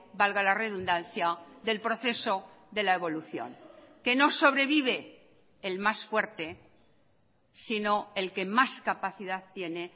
valga la redundancia del proceso de la evolución que no sobrevive el más fuerte sino el que más capacidad tiene